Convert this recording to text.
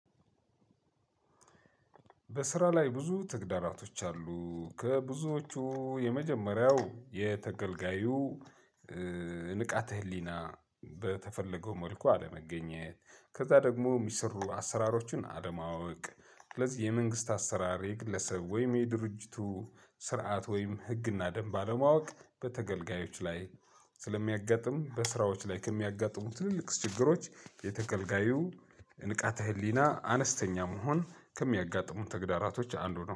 በስራ ላይ ብዙ ተግዳራቶች አሉ ከብዙዎቹ የመጀመሪያው የተገልጋዩ ንቃተ ህሊና በተፈለገው መልኩ አለመገኘት ከዛ ደግሞ ሚሰሩ አሰራሮችን አለማወቅ ስለዚህ የመንግስት አሰራር የግለሰብ ወይም የድርጅቱ ስርዓት ወይም ህግና ደንብ ባለማወቅ በተገልጋዮች ላይ ስለሚያጋጥም በስራዎች ላይ ከሚያጋጥሙት ትልልቅ ችግሮች የተከልጋዩ ንቃተ ህሊና አነስተኛ መሆን ከሚያጋጥሙን ተግዳራቶች አንዱ ነው